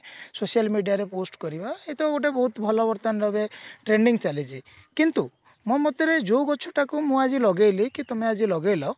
social media ରେ post କରିବା ଏଇଟା ଗୋଟେ ବହୁତ ଭଲ ବର୍ତମାନ ଏବେ trading ଚାଲିଛି କିନ୍ତୁ ମୋ ମତରେ ଯୋଉ ଗଛ ଟା କୁ ମୁଁ ଆଜି ଲଗେଇଲି କି ତମେ ଆଜି ଲଗେଇଲ